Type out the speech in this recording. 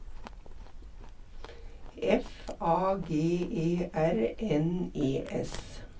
F A G E R N E S